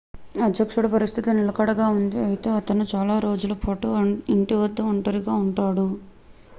అధ్యక్షుడి పరిస్థితి నిలకడగా ఉంది అయితే అతను చాలా రోజుల పాటు ఇంటి వద్ద ఒంటరిగా ఉంటారు